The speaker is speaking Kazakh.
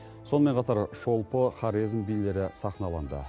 сонымен қатар шолпы хорезм билері сахналанды